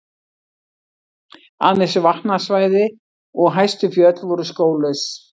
Aðeins vatnasvæði og hæstu fjöll voru skóglaus.